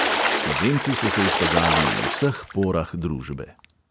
Slovenci so se izkazali v vseh porah družbe.